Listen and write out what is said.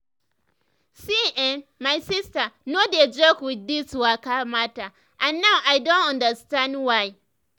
see[um]my sister no dey joke with this waka matter and now i don understand why.